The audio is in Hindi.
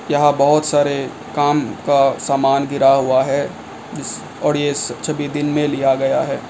यहां बहुत सारे काम का सामान गिरा हुआ है और ये छवि दिन में लिया गया है।